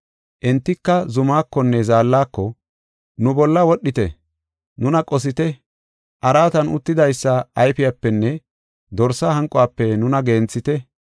Entika zumakonne zaallako, “Nu bolla wodhite; nuna qosite; araatan uttidaysa ayfiyapenne Dorsa hanquwafe nuna genthite.